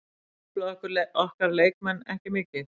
Þetta truflaði okkur leikmenn ekki mikið.